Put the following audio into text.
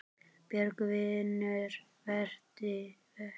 Björgun vinnur verkið.